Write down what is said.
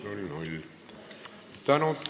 Palju tänu!